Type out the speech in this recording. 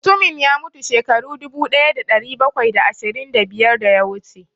Mutumin ya mutu shekaru dubu ɗaya da ɗari bakwai da ashirin da biyar da ya wuce